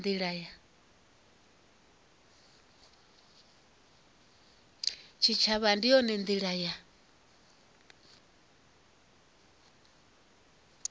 tshitshavha ndi yone ndila ya